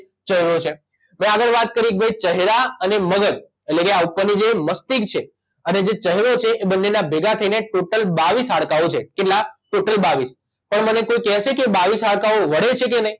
ચહેરો છે મેં આગળ વાત કરી ક ભાઇ ચહેરા અને મગજ એટલે કે આ ઉપરની જે મસ્તિષ્ક છે અને જે ચહેરો છે એ બંનેના ભેગાં થઇને ટોટલ બાવીસ હાડકાંઓ છે કેટલા ટોટલ બાવીસ પણ મને કોઇ કેશે કે એ બાવીસ હાડકાંઓ વળે છે કે નહીં